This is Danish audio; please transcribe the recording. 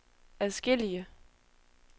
adskillige